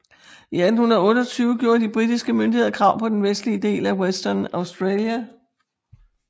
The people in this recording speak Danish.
I 1828 gjorde de britiske myndigheder krav på den vestlige del af Western Australia